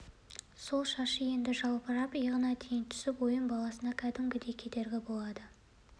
сол шашы енді жалбырап иығына дейін түсіп ойын баласына кәдімгідей кедергі болды